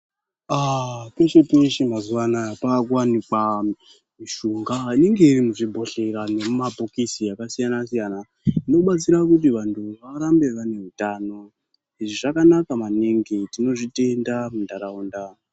Aaa peshe-peshe mazuwa anaa paakuwanikwa mishonga inenge iri muzvibhodhlera nemumabhokisi akasiyana-siyana, inobatsira kuti vantu varambe vane utano. Izvi zvakanaka maningi, tinozvitenda muntaraunda.